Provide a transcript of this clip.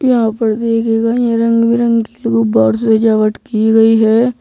यहां पर गई हैं रंग बिरंगी गुब्बारों सजावट की गई है।